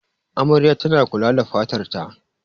Amaryar tana kula da fatar ta.